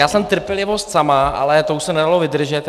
Já jsem trpělivost sama, ale to už se nedalo vydržet.